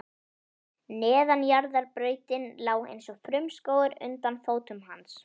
Neðanjarðarbrautin lá eins og frumskógur undir fótum hans.